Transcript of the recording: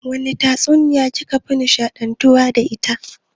Wace tatsuniya ki ka fi nishaɗantuwa da ita?